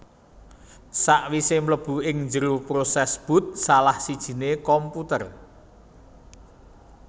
Sakwisé mlebu ing njero prosès boot salah sijiné komputer